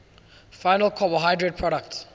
final carbohydrate products